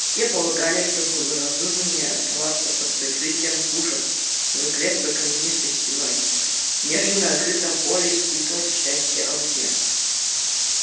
все полагали что благоразумнее оставаться под прикрытием пушек за крепкой каменистой стеной нежели на открытом поле испытывать счастье оружия